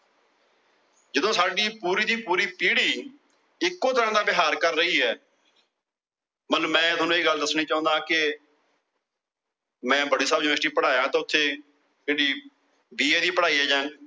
ਜਦੋ ਸਾਡੀ ਪੂਰੀ ਦੀ ਪੂਰੀ ਪੀੜੀ ਇਕੋ ਤਰਹ ਨਾਲ ਵਿਹਾਰ ਕਰ ਰਹੀ ਏ। ਮਤਲਬ ਮੈ ਤੁਹਾਨੂੰ ਇਹ ਗੱਲ ਦੱਸਣੀ ਚਾਉਂਦਾ ਕਿ ਮੈ ਬੜੇ ਸਾਲ University ਪੜੀਏਆ। ਤੇ ਉੱਥੇ ਜਿਹੜੀ BA ਦੀ ਪੜਾਈ ਏ